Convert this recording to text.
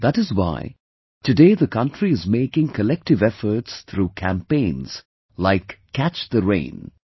That is why today the country is making collective efforts through campaigns like 'Catch the Rain'